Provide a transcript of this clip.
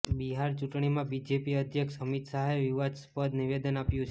બિહાર ચૂંટણીમાં બીજેપી અધ્યક્ષ અમિત શાહે વિવાદાસ્પદ નિવેદન આપ્યુ છે